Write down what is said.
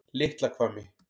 Litla Hvammi